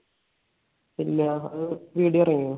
ഇല്ല. അത് video ഇറങ്ങിയോ?